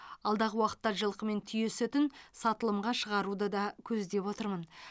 алдағы уақытта жылқы мен түйе сүтін сатылымға шығаруды да көздеп отырмын